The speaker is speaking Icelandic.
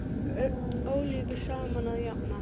Ólíku saman að jafna.